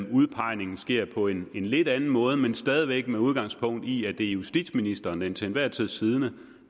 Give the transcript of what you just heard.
udpegningen sker på en lidt anden måde men stadig væk med udgangspunkt i at det er justitsministeren den til enhver tid siddende